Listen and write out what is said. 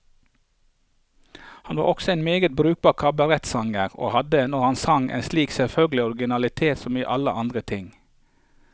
Han var også en meget brukbar kabaretsanger, og hadde, når han sang, en like selvfølgelig originalitet som i alle andre ting.